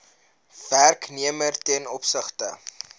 werknemer ten opsigte